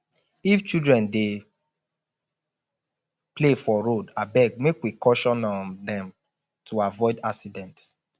if children dey play for road abeg make we caution um dem to avoid accident